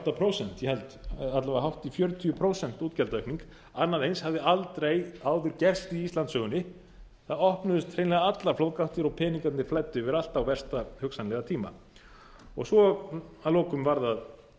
og átta prósent alla vega hátt í fjörutíu prósent útgjaldaaukning annað eins hafði aldrei áður gerst í íslandssögunni það opnuðust hreinlega allar flóðgáttir og peningarnir flæddu yfir allt á versta hugsanlega tíma svo að lokum var það